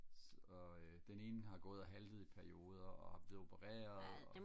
så øh den ene har gået og haltet i perioder og er opereret